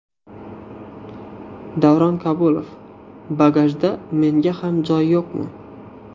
Davron Kabulov: Bagajda menga ham joy yo‘qmi?